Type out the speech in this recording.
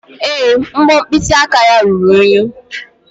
Èé, mbọ mkpịsị aka ya ruru unyi.